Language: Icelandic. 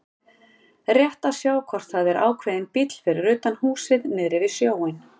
Rétt að sjá hvort það er ákveðinn bíll fyrir utan húsið niðri við sjóinn.